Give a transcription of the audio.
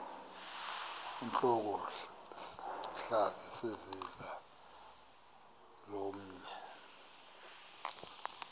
intlokohlaza sesisaz omny